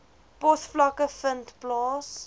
posvlakke vind plaas